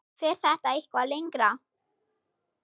Fer þetta eitthvað lengra?